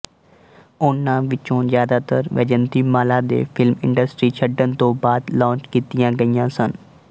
ਉਨ੍ਹਾਂ ਵਿੱਚੋਂ ਜ਼ਿਆਦਾਤਰ ਵੈਜਯੰਤੀਮਾਲਾ ਦੇ ਫ਼ਿਲਮ ਇੰਡਸਟਰੀ ਛੱਡਣ ਤੋਂ ਬਾਅਦ ਲਾਂਚ ਕੀਤੀਆਂ ਗਈਆਂ ਸਨ